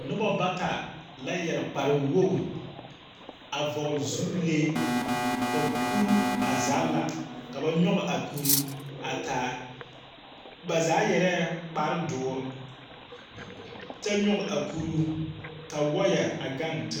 Noba bata la yɛr kpar wogr, a vɔgle zupilee. Ka kuruu a zagla ka ba nyɔge a kuruu a taa. Ba zaa yɛrɛɛ kpardoor kyɛ nyɔge a kuruu, ka wɔɔyɛ a gaŋ t.